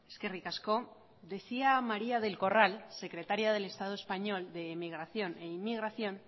eskerrik asko decía maría del corral secretaria del estado español de emigración e inmigración